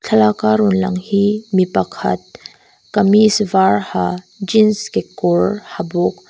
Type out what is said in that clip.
thlalaka rawn lang hi mi pakhat kamees var ha jeans kekawr ha bawk.